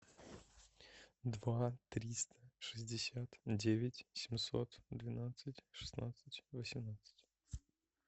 два триста шестьдесят девять семьсот двенадцать шестнадцать восемнадцать